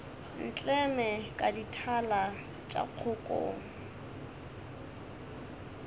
ntleme ka dithala tša kgokong